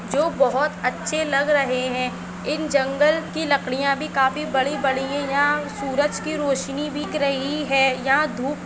जो बहुतअच्छे लग रहे है इन जंगल की लकडीया भी काफी बड़ी बड़ी है यहा सूरज की रोशनी की रोशनी दिख रही है यहा धूप --